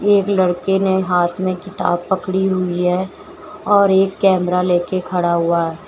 एक लड़के ने हाथ में किताब पकड़ी हुई है और एक कैमरा लेके खड़ा हुआ है।